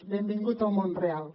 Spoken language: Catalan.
benvingut al món real